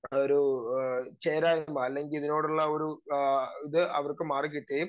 speaker 2 ഒരു ആഹ് ചേരാ യ്മ അല്ലെങ്കിലുള്ളൊരു ആഹ് ഇത് അവർക്ക് മാറിക്കിട്ടുകയും